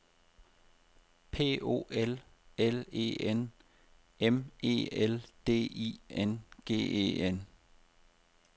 P O L L E N M E L D I N G E N